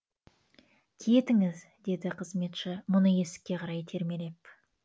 кетіңіз деді қызметші мұны есікке қарай итермелеп